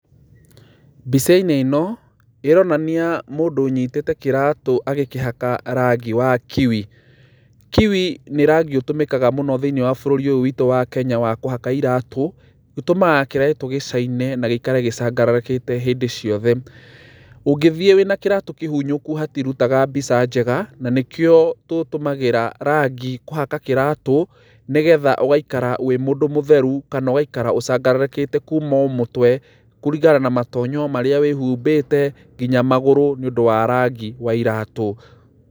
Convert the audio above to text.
Mbicainĩ ĩno, ĩronania mundũ ũnyitĩĩte kiratũ agĩkĩhaka rangi wa Kiwi. Kiwi nĩ rangi ũtũmĩkaga mũno thĩiniĩ wa bũrũrĩ ũyũ wĩtũ wa Kenya wa kũhaka ĩratũ. Ũtumaga kĩratũ gĩcaine na gĩikare gichangararũkĩte hĩndĩ ciothe. Ũngĩthiĩ wĩna kĩratũ kĩhunyũku hatirutaga mbica njega, na nĩkĩo tũtũmagĩra rangi kũhaka kĩratũ nĩ getha ũgaikara wĩ mũndũ mũtheru kana ũgaaikara ũchangararũkĩte kuuma o mũtwe kũringana na matonyo marĩa wĩhumbĩte nginya magũrũ nĩ ũndu wa rangi wa iratũ.